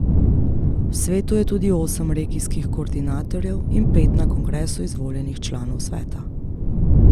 V svetu je tudi osem regijskih koordinatorjev in pet na kongresu izvoljenih članov sveta.